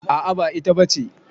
A'a ba ita ba ce.